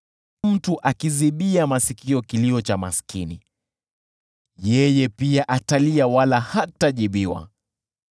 Mtu akiziba masikio asisikie kilio cha maskini, yeye pia atalia, wala hatajibiwa.